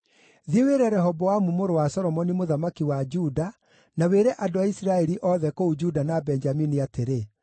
“Thiĩ wĩre Rehoboamu mũrũ wa Solomoni mũthamaki wa Juda, na wĩre andũ a Isiraeli othe kũu Juda na Benjamini atĩrĩ,